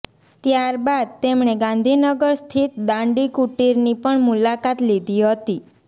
ત્યારબાદ તેમણે ગાંધીનગર સ્થિત દાંડી કુટીરની પણ મુલાકાત લીધી હતી